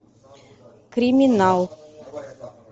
криминал